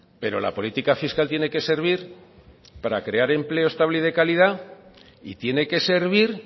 pero la política fiscal tiene que servir para crear empleo estable y de calidad y tiene que servir